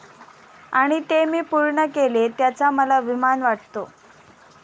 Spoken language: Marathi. आणि ते मी पूर्ण केले त्याचा मला अभिमान वाटतो.